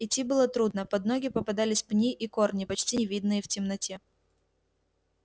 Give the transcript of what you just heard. идти было трудно под ноги попадались пни и корни почти не видные в темноте